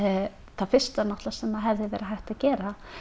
það fyrsta sem hefði verið hægt að gera